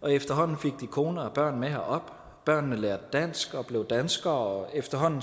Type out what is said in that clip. og efterhånden fik de kone og børn med herop børnene lærte dansk og blev danskere og efterhånden